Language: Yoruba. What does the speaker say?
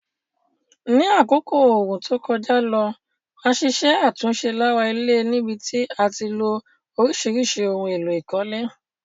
Ní àkókò ooru to kojá lo, a ṣiṣẹ́ àtúnse lára ilé níbití a tilo orísìrísì oun élò ìkólé